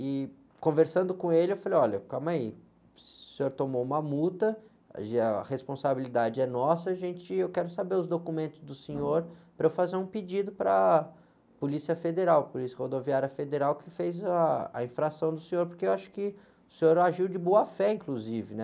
E conversando com ele, eu falei, olha, calma aí, o senhor tomou uma multa, aí, a responsabilidade é nossa, eu quero saber os documentos do senhor para eu fazer um pedido para a Polícia Federal, Polícia Rodoviária Federal, que fez ah, a infração do senhor, porque eu acho que o senhor agiu de boa fé, inclusive, né?